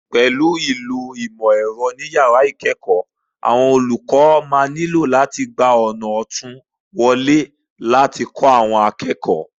Pẹ̀lú ìlò ìmọ̀ ẹ̀rọ ní yàrá ìkẹ́ẹ̀kọ̀ọ́, àwọn olùkọ́ lè nílò láti gba ọ̀nà òtún wọlé láti kó àwọn akẹ́kọ̀ọ́